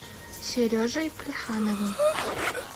сережей плехановым